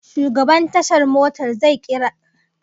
Shugaban tashar motar zai kira taro akan abokin aikin su da ya bace